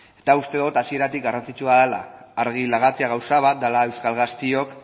eta uste dut hasieratik garrantzitsua dela argi lagatzea gauza bat dela euskal gazteok